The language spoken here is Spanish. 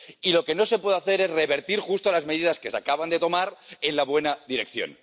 Y lo que no se puede hacer es revertir justo las medidas que se acaban de tomar en la buena dirección.